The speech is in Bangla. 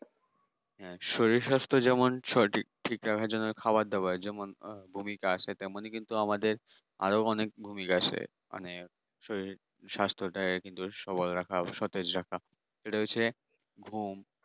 হ্যাঁ শরীর-স্বাস্থ্য যেমন সঠিক ঠিক রাখার জন্য খাবার দেওয়ার যেমন ভূমিকা আছে তেমনি কিন্তু আমাদের আরও অনেক ভূমিকা আছে। মানে শরীর স্বাস্থ্যটা কিন্তু সবার রাখা সতেজ রাখা এটা হচ্ছে ভূম